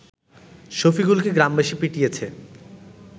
শফিকুলকে গ্রামবাসী পিটিয়েছে